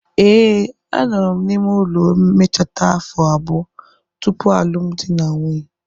ee, anọrọ m n'ime ụlọ mmecheta afo abuo? tupu alụmdi na nwunye.